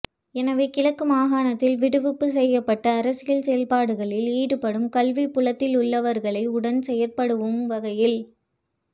எனவே கிழக்கு மாகாணத்தில் விடுவிப்பு செய்யப்பட்டு அரசியல் செயற்பாடுகளில் ஈடுபடும் கல்விப்புலத்திலுள்ளவர்களை உடன் செயற்படுவம் வகையில்